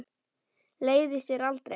Leiðist þér aldrei?